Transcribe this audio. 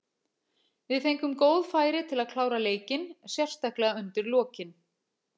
Við fengum góð færi til að klára leikinn, sérstaklega undir lokin.